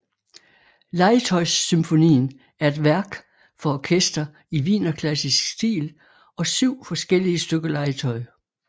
Legetøjssymfonien er et værk for orkester i wienerklassisk stil og syv forskellige stykker legetøj